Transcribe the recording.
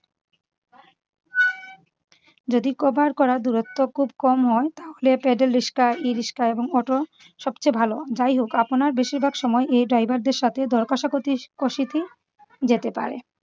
যদি cover করা দূরত্ব খুব কম হয় তাহলে paddle রিস্কা ই-রিস্কা এবং auto সবচেয়ে ভালো। যাই হোক আপনার বেশিরভাগ সময় এই driver দের সাথে দর কষাকষি কষিতি যেতে পারে।